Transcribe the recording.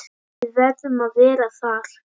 Við verðum að vera þar.